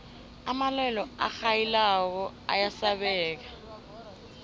amalwelwe arhayilako ayasabeka